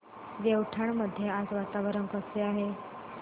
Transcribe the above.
देवठाण मध्ये आज वातावरण कसे आहे